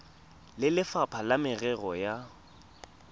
le lefapha la merero ya